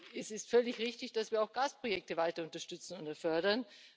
Es ist völlig richtig, dass wir auch Gasprojekte weiter unterstützen und fördern.